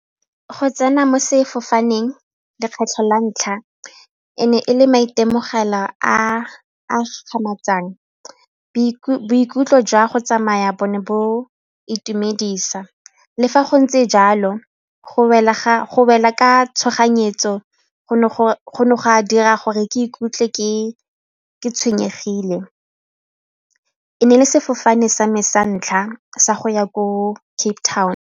Go tsena mo sefofaneng lekgetlho la ntlha e ne e le maitemogelo a a boikutlo jwa go tsamaya bone bo itumedisa le fa go ntse jalo go wela ka tshoganyetso go ne go ka dira gore ke ikutlwe ke tshwenyegile e ne e le sefofane sa me sa ntlha sa go ya ko Cape Town.